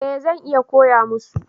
Eh zan iya koya musu